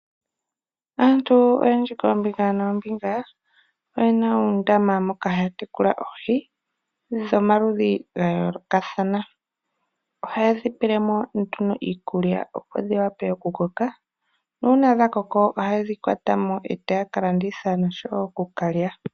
Aantu oyendji koombinga noombinga oyena uundama moka haya tekula oohi dhomaludhi ga yoolokathana. Ohaye dhi pele mo nduno iikulya opo dhi vule okukoka. Nuuna dha koko ohaye dhikwata mo etaya kalanditha noshowo okukalya.